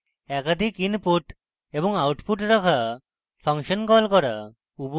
একাধিক inputs এবং outputs রাখা ফাংশন call করা